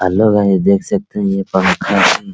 देख सकते है ये पंखा